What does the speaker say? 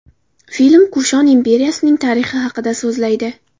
Film Kushon imperiyasining tarixi haqida so‘zlaydi.